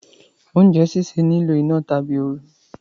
oúnjẹ síṣe ní ìlò iná tàbí ooru